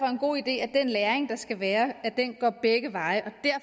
en god idé at den læring der skal være går begge veje